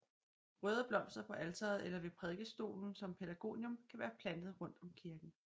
Røde blomster på alteret eller ved prædikestolen som pelargonium kan være plantet rundt om kirken